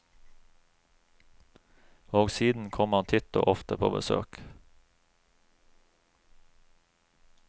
Og siden kom han titt og ofte på besøk.